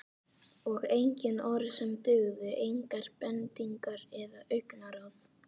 Og engin orð sem dugðu, engar bendingar eða augnaráð.